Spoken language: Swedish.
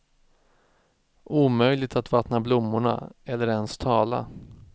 Omöjligt att vattna blommorna eller ens tala.